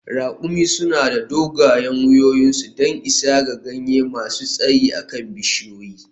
Ra`kumi suna da dogayen wuyoyinsu don isa ga ganye masu tsayi a kan bishiyoyi.